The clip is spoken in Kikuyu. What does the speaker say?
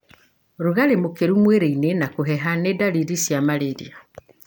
Rugarĩ mũkĩru mwĩrĩinĩ na kũheha nĩ ndariri cia malaria.